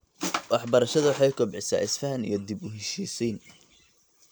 Waxbarashada waxay kobcisaa is-fahan iyo dib-u-heshiisiin.